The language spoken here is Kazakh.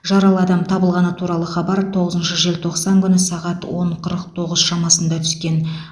жаралы адам табылғаны туралы хабар тоғызыншы желтоқсан күні сағат он қырық тоғыз шамасында түскен